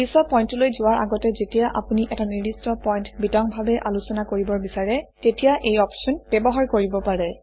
পিছৰ পইণ্টটোলৈ যোৱাৰ আগতে যেতিয়া আপুনি এটা নিৰ্দিষ্ট পইণ্ট বিতংভাৱে আলোচনা কৰিব বিচাৰে তেতিয়া এই অপশ্যন ব্যৱহাৰ কৰিব পাৰে